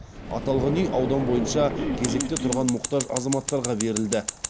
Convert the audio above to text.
аталған үй аудан бойынша кезекте тұрған мұқтаж азаматтарға берілді